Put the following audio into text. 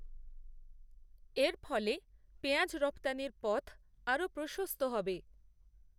এর ফলেপেঁয়াজ রফতানির পথআরও প্রশস্ত হবে